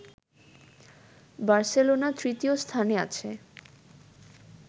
Barcelona তৃতীয় স্থানে আছে